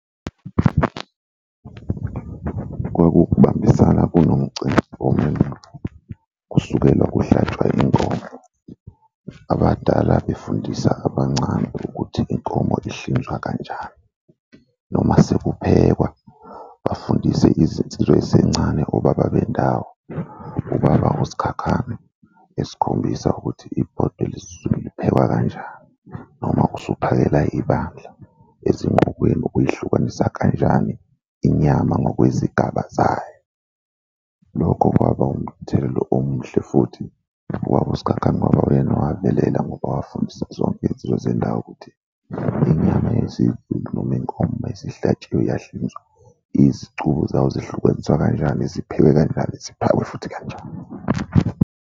Kwaku ukubambisana kunomcimbi womendo, kusukela kuhlatshwa inkomo, abadala befundisa abancane ukuthi inkomo ihlinzwa kanjani noma sekuphekwa bafundise izinsizwa ey'sencane obaba bendawo. Ubaba uSikhakhane esikhombisa ukuthi ibhodwe lesiZulu liphekwa kanjani, noma usuphakela ibandla ezingqukweni uyihlukanisa kanjani inyama ngokwezigaba zayo. Lokho kwaba umthelela omuhle futhi ubaba uSikhakhane kwaba uyena owabelela ngoba wafundisa zonke iy'nsizwa zendawo ukuthi inyama yezimvu noma yenkomo uma isihlatshiwe yahlinzwa izicubo zayo zihlukaniswa kanjani, ziphekwe kanjani ziphakwe futhi kanjani.